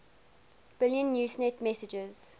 billion usenet messages